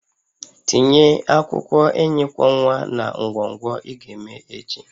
Tinye ahihia enyi kwọ nwa na ngwọngwọ ị ga-eme echi